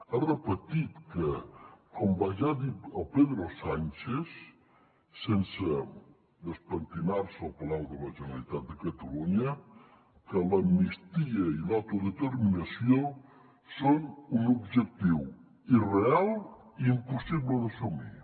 ha repetit que com va dir pedro sánchez sense despentinar se al palau de la generalitat de catalunya l’amnistia i l’autodeterminació són un objectiu irreal i impossible d’assumir